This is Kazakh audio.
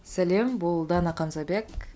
сәлем бұл дана қамзабек